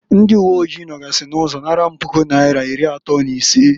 Ndị uwe oji nogasị n'ụzọ naara m Puku naira iri atọọ n'isee.